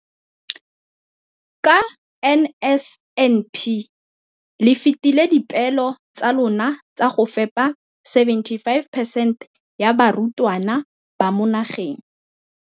Ka NSNP le fetile dipeelo tsa lona tsa go fepa masome a supa le botlhano a diperesente ya barutwana ba mo nageng.